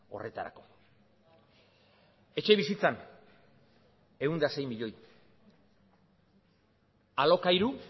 horretarako etxebizitzan ehun eta sei milioi alokairu